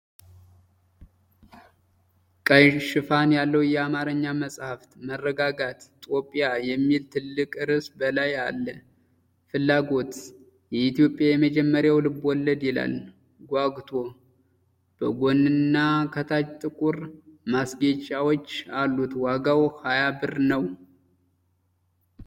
ቀይ ሽፋን ያለው የአማርኛ መጽሐፍ። መረጋጋት። "ጦቢያ" የሚል ትልቅ ርዕስ በላይ አለ። ፍላጎት። "የኢትዮጵያ የመጀመሪያው ልቦለድ" ይላል። ጓጉቶ። በጎንና ከታች ጥቁር ማስጌጫዎች አሉት። ዋጋው 20.00 ብር ነው።